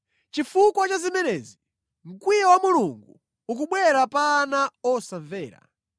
Chifukwa cha zimenezi, mkwiyo wa Mulungu ukubwera pa ana osamvera.